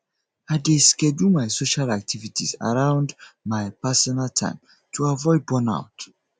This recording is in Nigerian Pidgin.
i dey schedule my social activities around my personal time to avoid burnout